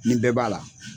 Nin bɛɛ b'a la